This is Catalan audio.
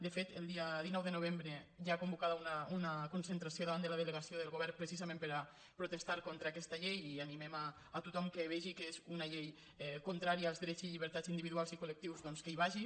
de fet el dia dinou de novembre hi ha convocada una concentració davant de la delegació del govern precisament per a protes·tar contra aquesta llei i animem a tothom que vegi que és una llei contrària als drets i llibertats individu·als i col·lectius doncs que hi vagi